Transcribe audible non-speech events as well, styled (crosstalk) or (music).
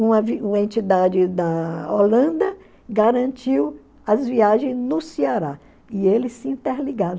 Uma (unintelligible) entidade da Holanda garantiu as viagens no Ceará, e eles se interligaram.